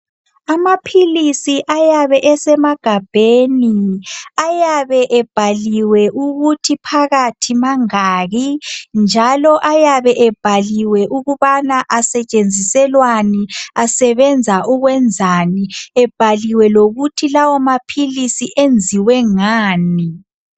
Amaphilizi ayabe esemagabheni ayabe ebhaliwe ukuthi phakathi mangaki njalo ayabe ebhaliwe ukubana asetshenziselwani, asebenza ukwenzani ebhaliwe lokuthi lawomaphilizi enziwe ngani.